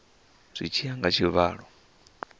zwi tshi ya nga tshivhalo